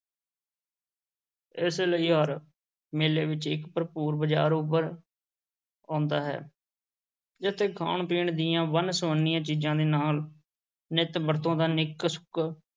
ਇਸੇ ਲਈ ਹਰ ਮੇਲੇ ਵਿੱਚ ਇੱਕ ਭਰਪੂਰ ਬਜ਼ਾਰ ਉੱਭਰ ਆਉਂਦਾ ਹੈ, ਜਿੱਥੇ ਖਾਣ-ਪੀਣ ਦੀਆਂ ਵੰਨ-ਸਵੰਨੀਆਂ ਚੀਜ਼ਾਂ ਦੇ ਨਾਲ ਨਿੱਤ ਵਰਤੋਂ ਦਾ ਨਿੱਕ-ਸੁੱਕ,